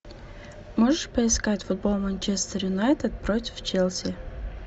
можешь поискать футбол манчестер юнайтед против челси